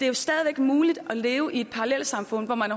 jo stadig væk muligt at leve i et parallelsamfund hvor man